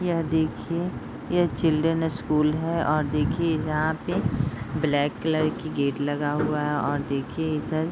यह देखिए यह चिल्ड्रेन स्कूल है और देखिए यहाँ पे ब्लैक कलर की गेट लगा हुआ है और देखिए इधर --